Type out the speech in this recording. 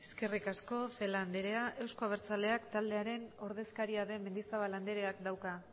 eskerrik asko celaá anderea euzko abertzaleak taldearen ordezkaria den mendizabal andereak dauka